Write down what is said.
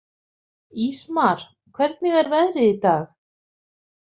Ísmar, hvernig er veðrið í dag?